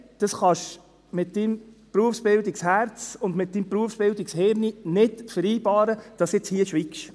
«Nein, das kannst du mit deinem Berufsbildungsherz und mit deinem Berufsbildungshirn nicht vereinbaren, dass du jetzt hier schweigst.